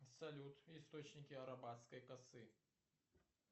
салют источники арабатской косы